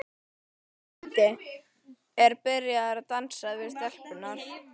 Doddi er byrjaður að dansa við stelpurnar.